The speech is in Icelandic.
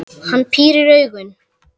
Hann pírir augun.